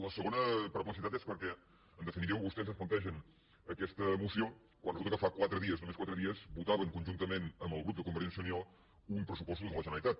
la segona perplexitat és perquè en definitiva vostès ens plantegen aquesta moció quan resulta que fa quatre dies només quatre dies votaven conjuntament amb el grup de convergència i unió uns pressupostos de la generalitat